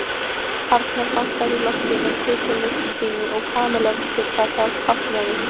Arnar bankaði í loftið með prikinu sínu og Kamilla vissi hvað það táknaði.